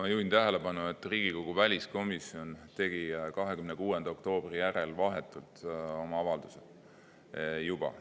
Ma juhin tähelepanu, et Riigikogu väliskomisjon tegi 26. oktoobri järel vahetult oma avalduse juba.